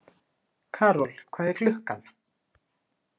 Karol, hvað er klukkan?